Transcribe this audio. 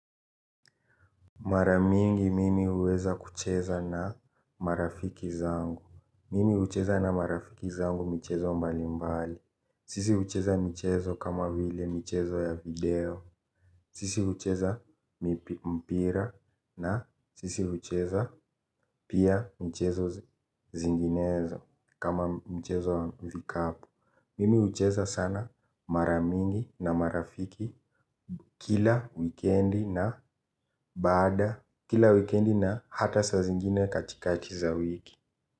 Mara mingi mimi huweza kucheza na marafiki zangu. Mimi hucheza na marafiki zangu michezo mbali mbali. Sisi hucheza michezo kama vile michezo ya video. Sisi hucheza mpira na sisi hucheza pia michezo zinginezo kama mchezo wa vikapu. Mimi hucheza sana mara mingi na marafiki kila wikendi na baada kila wikendi na hata saa zingine katikati za wiki.